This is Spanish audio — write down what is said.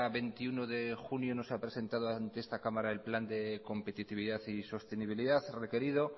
veintiuno de junio no se ha presentado ante esta cámara el plan de competitividad y sostenibilidad requerido